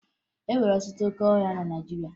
E nwere ọtụtụ óké ọhịa na Naịjirịa